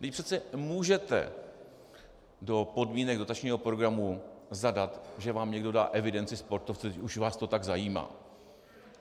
Vždyť přece můžete do podmínek dotačního programu zadat, že vám někdo dá evidenci sportovců, když už vás to tak zajímá.